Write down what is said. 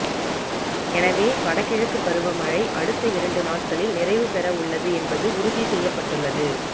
எனவே வட கிழக்கு பருவமழை அடுத்த இரண்டு நாட்களில் நிறைவு பெற உள்ளது என்பது உறுதி செய்யப்பட்டுள்ளது